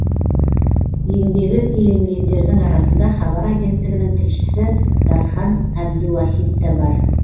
еңбегі еленгендердің арасында хабар агенттігінің тілшісі дархан әбдуахит та бар